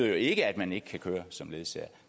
jo ikke at man ikke kan køre som ledsager